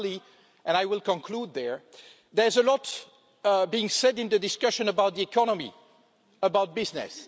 Finally and I will conclude there there's a lot being said in the discussion about the economy and business.